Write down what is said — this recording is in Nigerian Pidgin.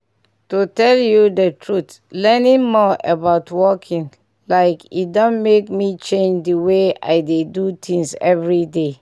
to tell you the truth learning more about walking like e don make me change the way i dey do things everyday.